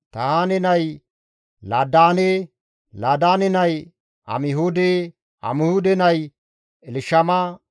Tahaane nay Laadaane; Laadaane nay Amihuude; Amihuude nay Elshama;